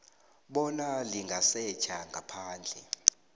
bona lingasetjha ngaphandle